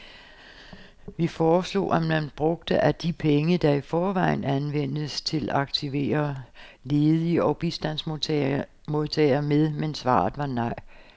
Vi foreslog, at man brugte af de penge, der i forvejen anvendes til at aktivere ledige og bistandsmodtagere med, men svaret var nej.